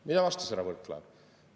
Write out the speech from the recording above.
Mida vastas härra Võrklaev?